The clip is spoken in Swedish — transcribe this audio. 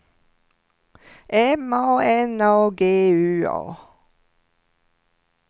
M A N A G U A